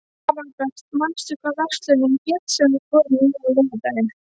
Aðalbert, manstu hvað verslunin hét sem við fórum í á laugardaginn?